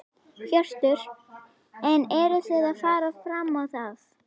Hjörtur: En eruð þið að fara fram á það?